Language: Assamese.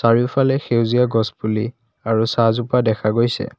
চাৰিওফালে সেউজীয়া গছ পুলি আৰু চাহজোপা দেখা গৈছে।